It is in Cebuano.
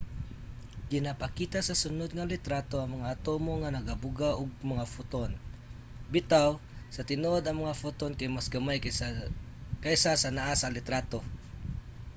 ginapakita sa sunod nga litrato ang mga atomo nga nagabuga og mga photon. bitaw sa tinuod ang mga photon kay mas gamay kaysa sa naa sa litrato